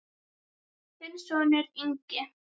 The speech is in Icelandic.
Þinn sonur, Ingi.